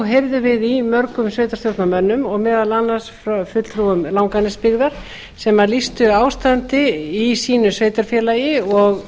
heyrðum við í mörgum sveitarstjórnarmönnum og meðal annars fulltrúum langanesbyggðar sem lýstu ástandi í sínu sveitarfélagi og